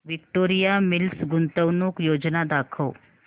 Victoria Mills गुंतवणूक योजना दाखव